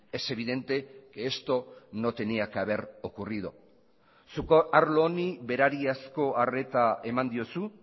es evidente que esto no tenía que haber ocurrido zuk arlo honi berariazko arreta eman diozu